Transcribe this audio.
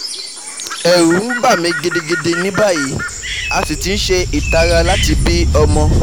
Ẹ̀rù ń bà mí gidigidi ní báyìí, a sì ti ń ṣe ìtara láti bí ọmọ